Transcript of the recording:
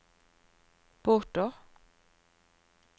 båter